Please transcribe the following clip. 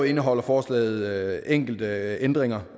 indeholder forslaget enkelte øvrige ændringer